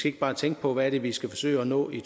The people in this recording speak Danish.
ikke bare tænke på hvad det er vi skal forsøge at nå i